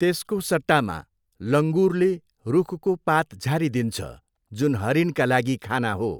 त्यसको सट्टामा लङुरले रुखको पात झारिदिन्छ जुन हरिणका लागि खाना हो।